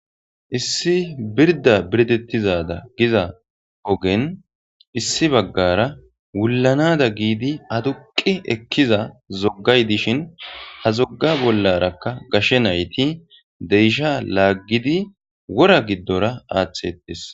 Issi birda birdetida badan issi ogenwulanadan hamidi adduq ekkidazigay dishin ha zoga bolarakka gashe nayiti deesha lagidi wora gidora axxidi dees.